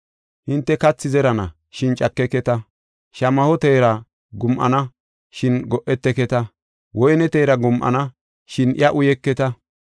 Hinte kathi zerana, shin cakeketa; shamaho teera gum7ana, shin go7eteketa; woyne teera gum7ana, shin iya uyeketa.